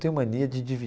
Tenho mania de